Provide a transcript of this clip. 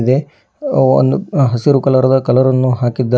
ದೆ ಅವನ್ನು ಹಸಿರು ಕಲರದ ಕಲರನ್ನು ಹಾಕಿದ್ದಾ--